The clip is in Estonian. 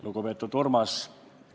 Lugupeetud Urmas!